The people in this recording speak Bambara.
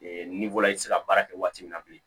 n'i bɔra i tɛ se ka baara kɛ waati min na bilen